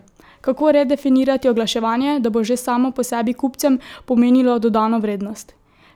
Kako redefinirati oglaševanje, da bo že samo po sebi kupcem pomenilo dodano vrednost?